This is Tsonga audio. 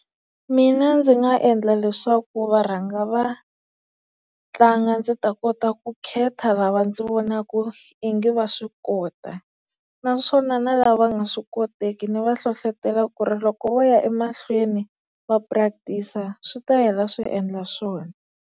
Mina ndzi nga endla leswaku va rhanga va tlanga ndzi ta kota ku khetha lava ndzi vonaka i nge va swi kota, naswona na lava va nga swi koteki ni va hlohlotela ku ri loko vo ya emahlweni va practice-a swi ta hela swi endla swona.